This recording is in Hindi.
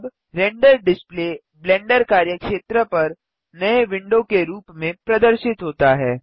अब रेंडर डिस्प्ले ब्लेंडर कार्यक्षेत्र पर नए विंडो के रूप में प्रदर्शित होता है